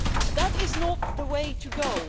That is not the way to go.